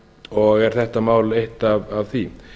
og er þetta mál eitt af því